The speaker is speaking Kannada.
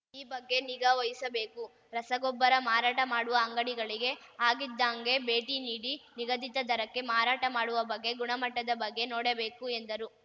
ಈ ಬಗ್ಗೆ ನಿಗಾ ವಹಿಸಬೇಕು ರಸಗೊಬ್ಬರ ಮಾರಾಟ ಮಾಡುವ ಅಂಗಡಿಗಳಿಗೆ ಆಗಿದ್ದಾಂಗೆ ಭೇಟಿ ನೀಡಿ ನಿಗದಿತ ದರಕ್ಕೆ ಮಾರಾಟ ಮಾಡುವ ಬಗ್ಗೆ ಗುಣಮಟ್ಟದ ಬಗ್ಗೆ ನೋಡಬೇಕು ಎಂದರು